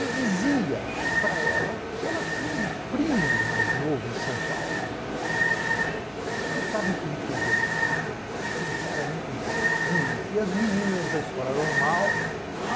e dizia para ela que ela tinha um primo mais novo em São Paulo, né, que estava em política universitária, que era um cara muito interessante, e as meninas da escola normal